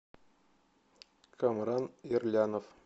камран ирлянов